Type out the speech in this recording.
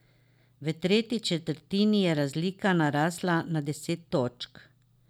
V tretji četrtini je razlika narasla na deset točk.